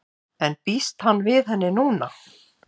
En býst hann við henni núna?